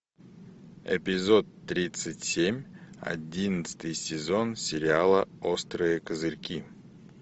эпизод тридцать семь одиннадцатый сезон сериала острые козырьки